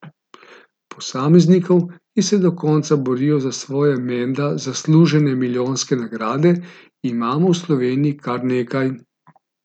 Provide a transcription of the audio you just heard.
Posameznikov, ki se do konca borijo za svoje menda zaslužene milijonske nagrade, imamo v Sloveniji kar nekaj.